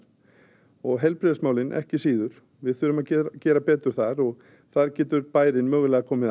og heilbrigðismálin ekki síður við þurfum að gera betur þar og þar getur bærinn mögulega komið